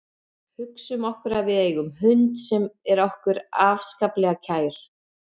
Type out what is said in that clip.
Hugsum okkur að við eigum hund sem er okkur afskaplega kær.